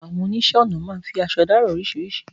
Àwọn oníṣẹ̀ onà máa fi àṣọ̀ dá ara oríṣíríṣì